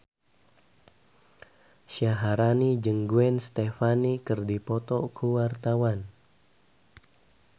Syaharani jeung Gwen Stefani keur dipoto ku wartawan